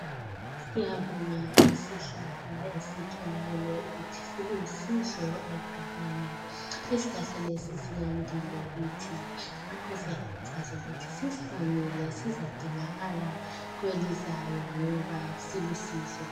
Siyabonga isihlahla esitholakale ukuthi silusizo esigabeni lesi isihlahla lesi suyandile kithi ngakho siyakhuthaza ukuthi sisihlanyele sizadingakala kwelizayo ngoba silusizo